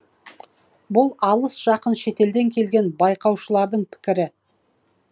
бұл алыс жақын шетелден келген байқаушылардың пікірі